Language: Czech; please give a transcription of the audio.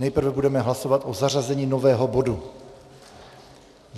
Nejprve budeme hlasovat o zařazení nového bodu.